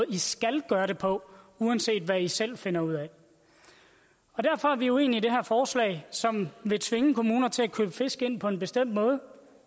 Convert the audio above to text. i skal gøre det på uanset hvad i selv finder ud af derfor er vi uenige i det her forslag som vil tvinge kommuner til at købe fisk ind på en bestemt måde